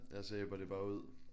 Ja så ebber det bare ud